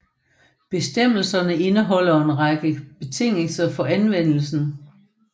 Bestemmelserne indeholder en række betingelser for anvendelsen